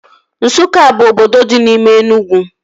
Nsukka bụ obodo dị n'ime Enugwu